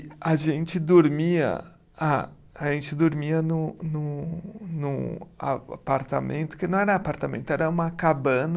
E a gente dormia. Ah, a gente dormia num num num a, apartamento, que não era apartamento, era uma cabana...